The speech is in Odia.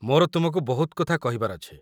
ମୋର ତୁମକୁ ବହୁତ କଥା କହିବାର ଅଛି।